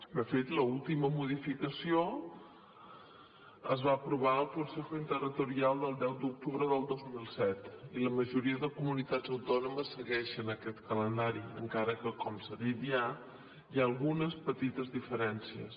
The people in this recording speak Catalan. de fet l’última modificació es va aprovar al consejo interterritorial del deu d’octubre del dos mil set i la majoria de comunitats autònomes segueixen aquest calendari encara que com s’ha dit ja hi ha algunes petites diferències